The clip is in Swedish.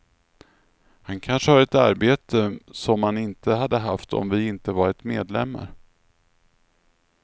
Han kanske har ett arbete som han inte hade haft om vi inte varit medlemmar.